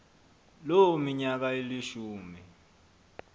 loo minyaka ilishumi